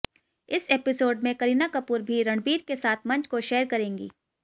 इस एपिसोड में करीना कपूर भी रणबीर के साथ मंच को शेयर करेंगी